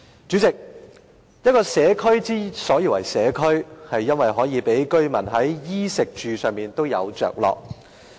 主席，一個社區之所以為社區，是因為可以讓居民在衣、食和住方面皆有着落。